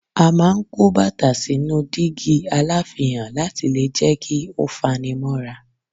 A máa ń kó bàtà sínú dígí aláfihàn láti lè jẹ́ kí ó fani mọ́ra.